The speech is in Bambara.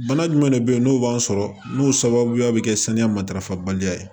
Bana jumɛn de bɛ yen n'o b'an sɔrɔ n'o sababuya bɛ kɛ saniya matarafabaliya